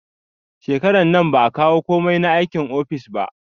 Shekarar nan ba a kawo komai na aikin office ba